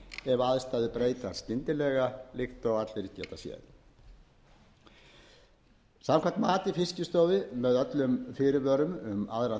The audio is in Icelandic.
ef aðstæður breytast skyndilega líkt og allir geta séð samkvæmt mati fiskistofu með öllum fyrirvörum um aðra